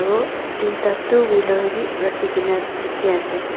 aru tuita two wheeler bi rakhi kae na dikhiase.